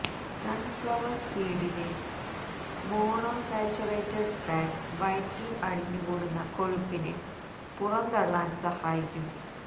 sunflower സീഡിലെ monosaturated fat വയറ്റില് അടിഞ്ഞു കൂടുന്ന കൊഴുപ്പിനെ പുറന്തള്ളാന് സഹായിക്കും